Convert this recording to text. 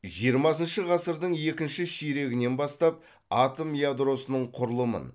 жиырмасыншы ғасырдың екінші ширегінен бастап атом ядросының құрылымын